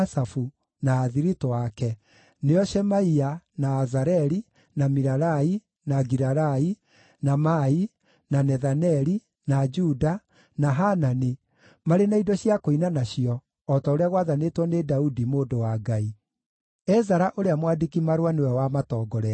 na athiritũ ake, nĩo Shemaia, na Azareli, na Milalai, na Gilalai, na Maai, na Nethaneli, na Juda, na Hanani, marĩ na indo cia kũina nacio o ta ũrĩa gwathanĩtwo nĩ Daudi, mũndũ wa Ngai. Ezara ũrĩa mwandĩki-marũa nĩwe wamatongoretie.